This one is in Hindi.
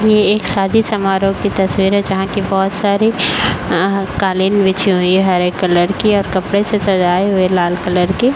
ये एक शादी समारोह की तस्वीर है जहाँ कि बहोत सारी अ कालीन बिछी हुई है हरे कलर की और कपड़े से सजाई हुई है लाल कलर की।